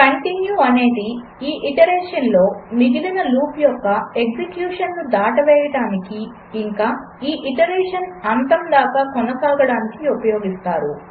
continue అనేది ఈ ఐటరేషన్లో మిగిలిన లూప్ యొక్క ఎగ్జెక్యూషన్ను దాటవేయడానికి ఇంకా ఈ ఐటరేషన్ అంతం దాకా కొనసాగడానికీ ఉపయోగిస్తారు